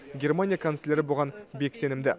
германия канцлері бұған бек сенімді